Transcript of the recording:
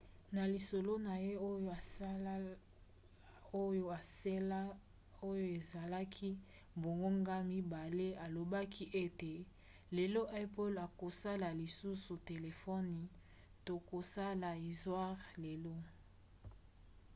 na lisolo na ye oyo esalaki bangonga 2 alobaki ete lelo apple akosala lisusu telefone tokosala istware lelo